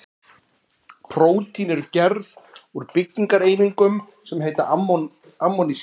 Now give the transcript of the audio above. Prótín eru gerð úr byggingareiningum sem heita amínósýrur.